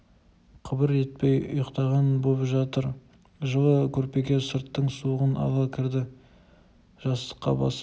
қыбыр етпей ұйықтаған боп жатыр жылы көрпеге сырттың суығын ала кірді жастыққа басы